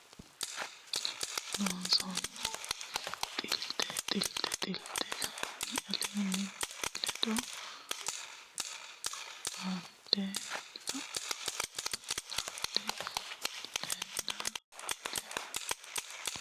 Loossinanni xilte xilite xiltte hanni aleenni ledo lannde landee lende loonsummo lawishshi konninni aante shaete borreessantino qaalla Xilte yaannoho Loossinanni.